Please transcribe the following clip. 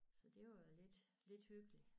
Så det var lidt lidt hyggelig